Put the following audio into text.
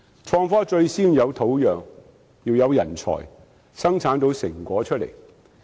創科最先要有土壤和人才，才能生產成果。